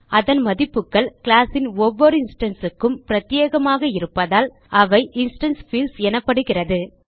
அதன் மதிப்புகள் கிளாஸ் ன் ஒவ்வொரு இன்ஸ்டான்ஸ் க்கும் பிரத்யேகமாக இருப்பதால் அவை இன்ஸ்டான்ஸ் பீல்ட்ஸ் எனப்படுகிறது